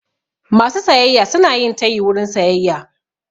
Masu sayayya suna yin tayi wurin sayayya.